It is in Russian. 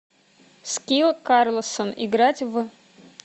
скилл карлсон играть в